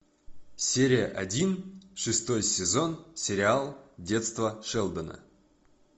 серия один шестой сезон сериал детство шелдона